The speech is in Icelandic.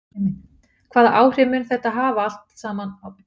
Hvaða áhrif mun þetta hafa allt saman á traust í samfélaginu?